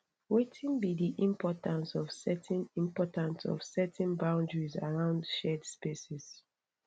wetin be di importance of setting importance of setting boundaries around shared spaces